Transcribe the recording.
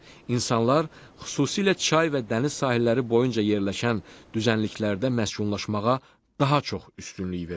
İnsanlar xüsusilə çay və dəniz sahilləri boyunca yerləşən düzənliklərdə məskunlaşmağa daha çox üstünlük verirlər.